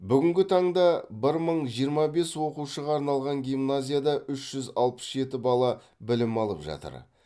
бүгінгі таңда бір мың жиырма бес оқушыға арналған гимназияда үш жүз алпыс жеті бала білім алып жатыр